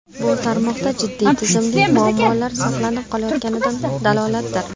Bu tarmoqda jiddiy tizimli muammolar saqlanib qolayotganidan dalolatdir.